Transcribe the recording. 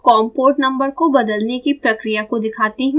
अब मैं आपको com पोर्ट नंबर को बदलने की प्रक्रिया को दिखाती हूँ